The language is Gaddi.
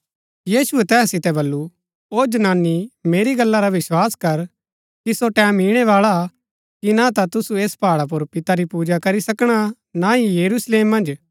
यीशुऐ तैहा सितै वलु ओ जनानी मेरी गल्ला रा विस्वास कर कि सो टैमं ईणैबाळा हा कि ना ता तुसू ऐस पहाडा पुर पिता री पूजा करी सकणा ना ही यरूशलेम मन्ज